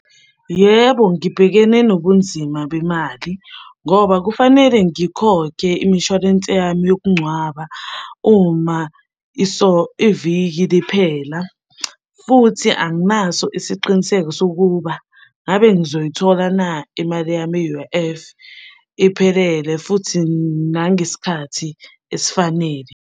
Yebo, ngibhekene nobunzima bemali ngoba kufanele ngikhokhe imishwalense yami yokungcwaba uma iviki liphela, futhi anginaso isiqiniseko sokuba ngabe ngizoyithola na imali yami ye-U_I_F iphelele futhi nangesikhathi esifanele.